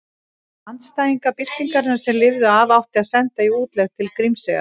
Þá andstæðinga byltingarinnar sem lifðu af átti að senda í útlegð til Grímseyjar.